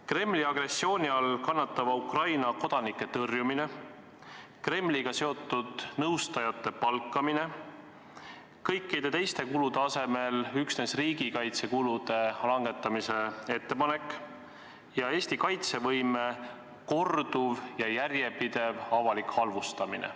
Kremli agressiooni all kannatava Ukraina kodanike tõrjumine, Kremliga seotud nõustajate palkamine, kõikide teiste kulude asemel üksnes riigikaitsekulude langetamise ettepanek ja Eesti kaitsevõime korduv ja järjepidev avalik halvustamine.